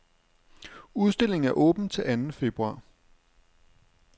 Udstillingen er åben til anden februar.